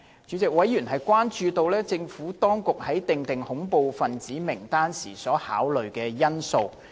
主席，委員關注到政府當局在訂定恐怖分子名單時所考慮的因素。